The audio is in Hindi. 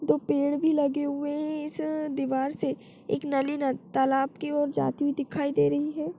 दो पेड़ भी लगे हुए है इस दीवार से एक नाली तालाब की और जाति हुई दे रही है।